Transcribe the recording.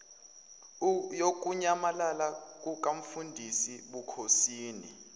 yokunyamalala kukamfundisi bukhosini